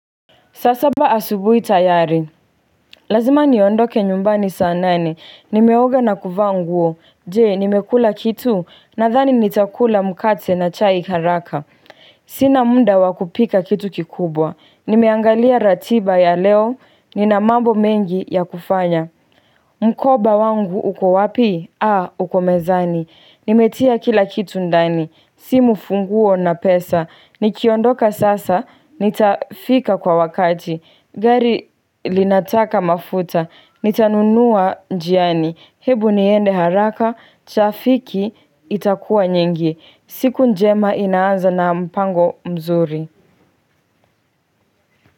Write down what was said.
Saa saba asubuhi tayari. Lazima niondoke nyumbani saa nane. Nimeoga na kuvaa nguo. Je, nimekula kitu? Nathani nitakula mkate na chai haraka. Sina muda wa kupika kitu kikubwa. Nimeangalia ratiba ya leo. Ninamambo mengi ya kufanya. Mkoba wangu uko wapi? Aaa! Uko mezani. Nimetia kila kitu ndani. Simu, funguo na pesa. Nikiondoka sasa, nitafika kwa wakati. Gari linataka mafuta. Nitanunua njiani. Hebu niende haraka, trafiki itakuwa nyingi. Siku njema inaanza na mpango mzuri.